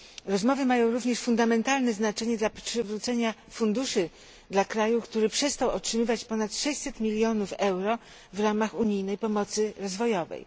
Rozmowy mają również fundamentalne znaczenie dla przywrócenia funduszy dla kraju, który przestał otrzymywać ponad 600 milionów euro w ramach unijnej pomocy rozwojowej.